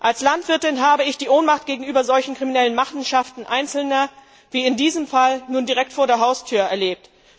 Als Landwirtin habe ich die Ohnmacht gegenüber solchen kriminellen Machenschaften Einzelner wie in diesem Fall nun direkt vor der Haustür erlebt.